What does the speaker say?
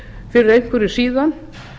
fyrir einhverju síðan